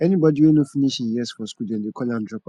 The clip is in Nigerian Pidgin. anybody wey no finish im years for school dem de call am dropout